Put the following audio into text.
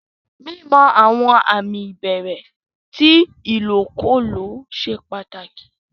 Mímọ̀ àwọn àmì ìbẹ̀rẹ̀ tí ilòkúlọ̀ sẹ́ pàtákì.